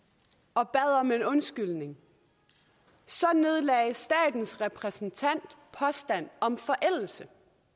og bad om en undskyldning så nedlagde statens repræsentant påstand om forældelse